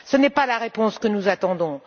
Ce n'est pas la réponse que nous attendons.